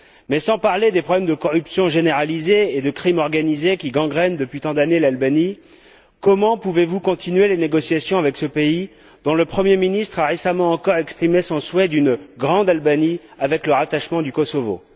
Mais, sans parler des problèmes de corruption généralisée et de criminalité organisée qui gangrènent l'Albanie depuis tant d'années, comment pouvez vous continuer les négociations avec ce pays, dont le Premier ministre a récemment encore exprimé son souhait d'une grande Albanie, avec le rattachement du Kosovo?